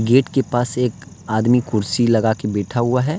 Gate के पास एक आदमी कुर्सी लगा के बैठा हुआ है।